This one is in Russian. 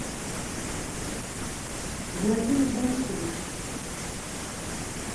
владимир борисович